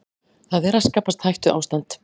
Það er að skapast hættuástand